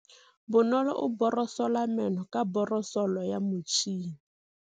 Bonolô o borosola meno ka borosolo ya motšhine.